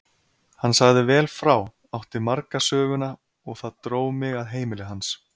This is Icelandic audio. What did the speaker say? Hann sagði vel frá, átti marga söguna og það dró mig að heimili hans.